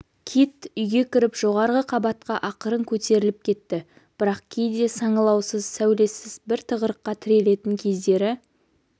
кит үйге кіріп жоғарғы қабатқа ақырын көтеріліп кетті бірақ кейде саңылаусыз сәулесіз бір тығырыққа тірелетін кездері